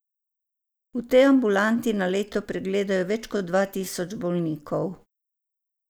V tej ambulanti na leto pregledajo več kot dva tisoč bolnikov.